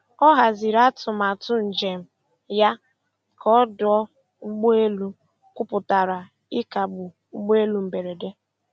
Ọ haziri atụmatụ njem ya ka ọdụ ụgbọ elu kwuputara ịkagbu ụgbọ elu mberede.